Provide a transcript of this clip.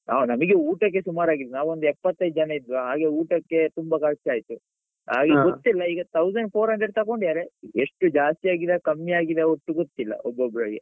ಆ ನಮಿಗೆ ಊಟಕ್ಕೆ ಸುಮಾರ್ ಆಗಿದೆ ನಾವೊಂದು ಎಪ್ಪತೈದು ಜನ ಇದ್ವಾ ಹಾಗೆ ಊಟಕ್ಕೆ ತುಂಬಾ ಖರ್ಚಾಯ್ತು. ಹಾಗೆ ಗೊತ್ತಿಲ್ಲ ಈಗ thousand four hundred ತಕೊಂಡಿದ್ದಾರೆ ಎಷ್ಟು ಜಾಸ್ತಿ ಆಗಿದ ಕಮ್ಮಿ ಆಗಿದ ಒಟ್ಟು ಗೊತ್ತಿಲ್ಲ ಒಬ್ಬೊಬ್ರಿಗೆ.